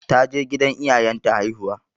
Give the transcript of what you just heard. Ta je gidan iyayen ta haihuwa.